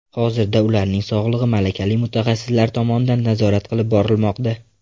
Hozirda ularning sog‘ligi malakali mutaxassislar tomonidan nazorat qilib borilmoqda.